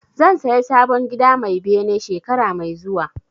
Zan saya sabon gida mai bene shekara mai zuwa